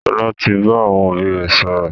Sọlá tí bá àwọn òbí rẹ sọ̀rọ̀